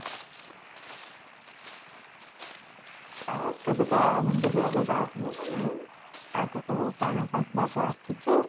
ଆଉ କେବେ କଣ ବୁଲିବାକୁ ଯାଇଥିଲୁ ନା ନାଇଁ ଆଗକୁ ପଣା ସଂକ୍ରାନ୍ତି ଆସୁଛି